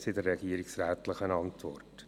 Dies steht in der regierungsrätlichen Antwort.